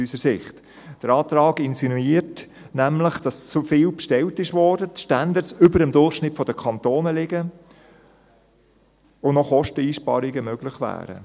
Der Antrag insinuiert nämlich, dass zu viel bestellt wurde, dass die Standards über dem Durchschnitt der Kantone liegen, und dass Kosteneinsparungen noch möglich wären.